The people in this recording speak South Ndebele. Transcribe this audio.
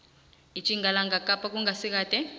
etjingalanga kapa kungasikade